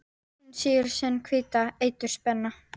Hún sýgur sinn hvíta eitur spena.